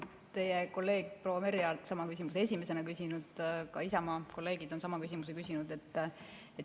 Teie kolleeg proua Merry Aart küsis sama küsimuse esimesena ja ka Isamaa kolleegid küsisid sama küsimuse.